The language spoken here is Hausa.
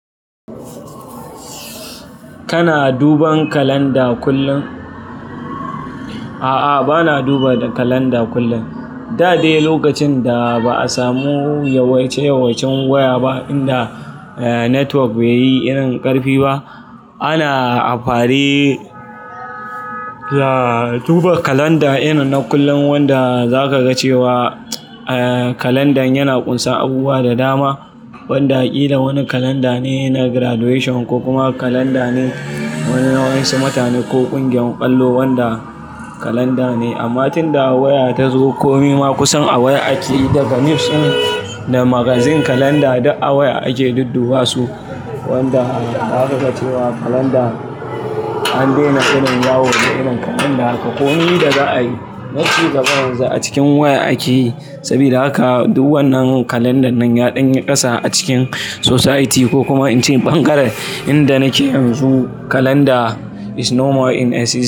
Kana duban kalanda kullum? A'a, bana duba kalanda kullum. Da dai lokacin da ba a samu yawaice-yawaicen waya ba, inda network bai yi irin ƙarfi ba, ana amfari za-duba kalanda irin na kullum wanda zaka ga cewa, eh, kalandan yana ƙunsan abubuwa da dama. Wanda ƙida wani kalanda ne na graduation ko kuma kalanda ne wani na wa'yansu mutane ko ƙungiyar ƙwallo wanda kalanda ne. Amma tunda waya ta zo, komi ma kusan a waya ake yi daga news in da magazine kalanda duk a waya ake dudduba su. Wanda za ka ga cewa kalanda an daina irin yawo da irin kalanda ka. Komi da za a yi, nace da garin yanzu a cikin waya ake yi. Saboda haka, duk wannan kalandan nan ya danyi ƙasa a cikin society ko kuma in ce ɓangaren inda nake yanzu kalanda is no more in essence.